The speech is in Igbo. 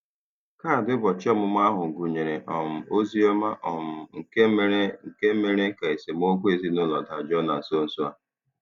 Kaadị ụbọchị ọmụmụ ahụ gụnyere um ozi ọma um nke mere nke mere ka esemokwu ezinụlọ dajụọ na nso nso a.